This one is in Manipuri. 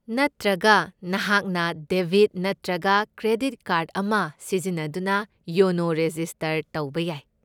ꯅꯠꯇ꯭ꯔꯒ, ꯅꯍꯥꯛꯅ ꯗꯦꯕꯤꯠ ꯅꯠꯇ꯭ꯔꯒ ꯀ꯭ꯔꯦꯗꯤꯠ ꯀꯥꯔꯗ ꯑꯃ ꯁꯤꯖꯤꯟꯅꯗꯨꯅ ꯌꯣꯅꯣ ꯔꯦꯖꯤꯁꯇꯔ ꯇꯧꯕ ꯌꯥꯏ꯫